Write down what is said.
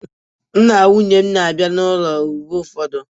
Nna nwunye m na-abịa n'ụlọ mgbe ụfọdụ